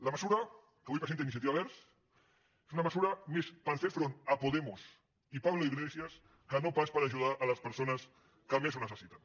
la mesura que avui presenta iniciativa verds és una mesura més per fer front a podemos i pablo iglesias que no pas per ajudar les persones que més ho necessiten